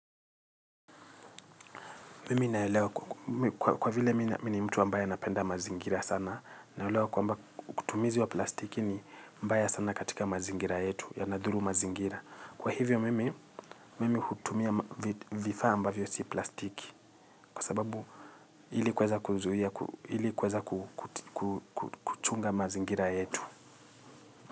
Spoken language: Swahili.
Mimi naelewa kwa vile mimi ni mtu ambaye anapenda mazingira sana naelewa kwamba kutumizi wa plastiki ni mbaya sana katika mazingira yetu ya nadhuru mazingira. Kwa hivyo mimi hutumia vifaa ambavyo si plastiki kwa sababu hili kuweza kuchunga mazingira yetu.